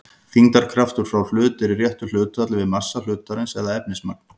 Þyngdarkraftur frá hlut er í réttu hlutfalli við massa hlutarins eða efnismagn.